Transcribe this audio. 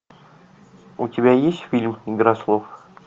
у тебя есть фильм игра слов